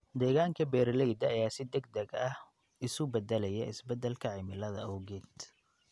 Deegaanka beeralayda ayaa si degdeg ah isu beddelaya isbeddelka cimilada awgeed.